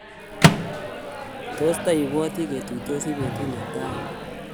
tos ti bwoti ketuitosi betut ne tai